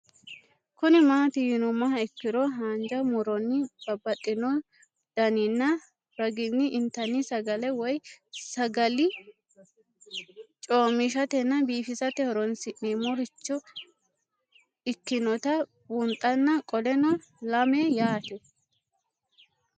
Kuni mati yinumoha ikiro hanja muroni babaxino daninina ragini intani sagale woyi sagali comishatenna bifisate horonsine'morich ikinota bunxana qoleno lame yaate?